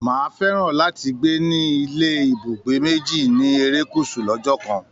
Máà fẹ́ràn láti gbé ní ilé ibúgbé méjì ni erékùṣù lọ́jọ́ kan